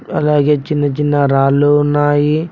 అలాగే చిన్న చిన్న రాళ్ళు ఉన్నాయి.